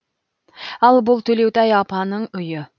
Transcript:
ал бұл төлеутай апаның үйі